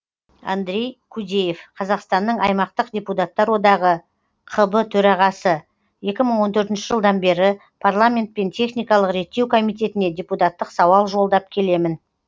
андрей кудеев қазақстанның аймақтық депутаттар одағы қб төрағасы екі мың он төртінші жылдан бері парламент пен техникалық реттеу комитетіне депутаттық сауал жолдап келемін